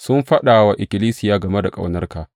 Sun faɗa wa ikkilisiya game da ƙaunarka.